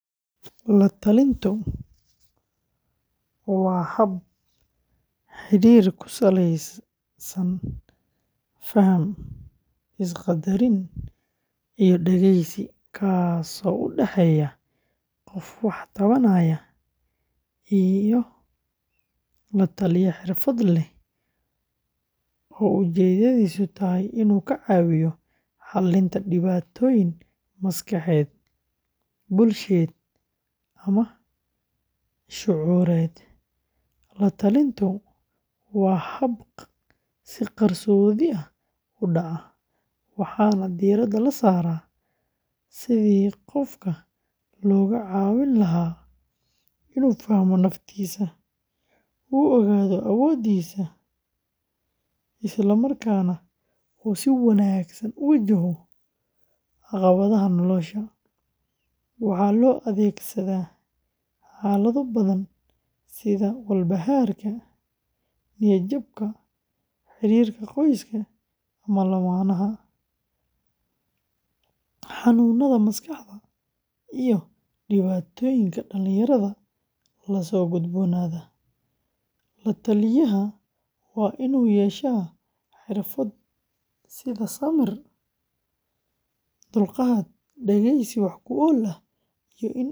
La-talintu, waa hab xidhiidh ku saleysan faham, is-qaddarin iyo dhegeysi, kaas oo u dhexeeya qof wax tabanaya iyo la-taliye xirfad leh oo ujeedadiisu tahay inuu ka caawiyo xallinta dhibaatooyin maskaxeed, bulsheed, ama shucuureed. La-talintu waa hab si qarsoodi ah u dhaca, waxaana diiradda la saaraa sidii qofka looga caawin lahaa inuu fahmo naftiisa, u ogaado awoodihiisa, isla markaana uu si wanaagsan u wajaho caqabadaha nolosha. Waxaa loo adeegsadaa xaalado badan sida walbahaarka, niyad-jabka, xiriirka qoyska ama lammaanaha, xanuunada maskaxda, iyo dhibaatooyinka dhallinyarada la soo gudboonaada. La-taliyaha waa inuu yeeshaa xirfado sida samir, dulqaad, dhegeysi wax-ku-ool ah.